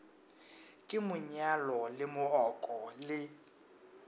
ke monyalo le mooko le